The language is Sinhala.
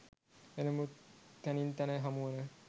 එනමුත් තැනින් තැන හමුවන